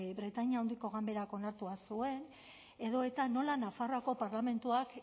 britainia handiko ganberak onartua zuen edo eta nola nafarroako parlamentuak